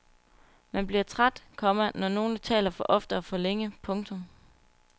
Man bliver træt, komma når nogle taler for ofte og for længe. punktum